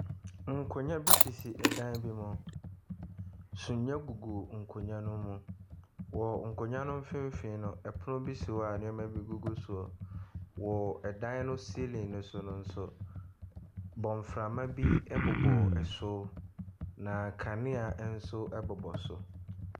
Nkonnwa bi sisi ɔdan bi mu. Sumiɛ gugu nkonnwa ne mu. Wɔ nkonnwa no mfinfinn no ɛpono bi si hɔ a nneema bi egugu soɔ. Wɔ ɛdan no ceiling no so nso, bɔnframa bi ɛbobɔ soro na kanea ɛnso ɛbobɔ so.